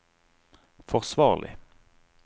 forsvarlig